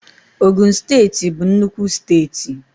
Ogun steeti bụ nnukwu steeti